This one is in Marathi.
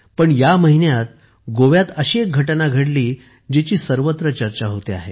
पण या महिन्यात गोव्यात अशी घटना घडली जिची सर्वत्र चर्चा होते आहे